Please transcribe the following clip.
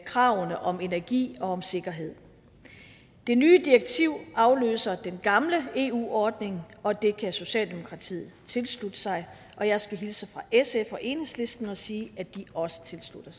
kravene om energi og om sikkerhed det nye direktiv afløser den gamle eu ordning og det kan socialdemokratiet tilslutte sig og jeg skal hilse fra sf og enhedslisten og sige at de også tilslutter